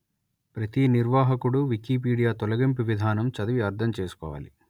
ప్రతీ నిర్వాహకుడు వికీపీడియా తొలగింపు విధానం చదివి అర్థం చేసుకోవాలి